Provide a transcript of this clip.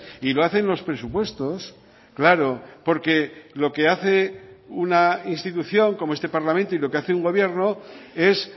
y lo hace en los presupuestos claro porque lo que hace una institución como este parlamento y lo que hace un gobierno es